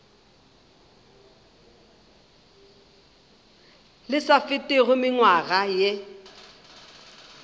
le sa fetego mengwaga ye